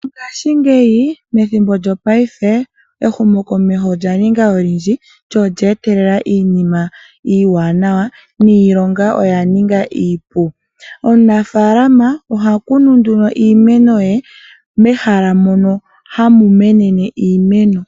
Ngashingeyi methimbo lyopaife ehumokomeho olya ninga olindji lyo olye etelela iinima iiwananawa niilonga oya ninga iipu. Omunafaalama oha kunu nduno iimeno ye mehala mono hamu menene iimeno.